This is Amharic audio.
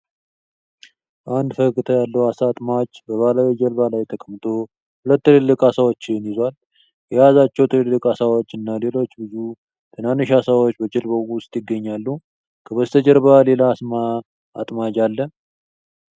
አንድ ፈገግታ ያለው ዓሣ አጥማጅ በባህላዊ የጀልባ ላይ ተቀምጦ ሁለት ትልልቅ ዓሳዎችን ይዟል። የያዛቸው ትልልቅ ዓሳዎች እና ሌሎች ብዙ ትናንሽ ዓሳዎች በጀልባው ውስጥ ይገኛሉ። ከበስተጀርባ ሌላ ዓሣ አጥማጅ አለ።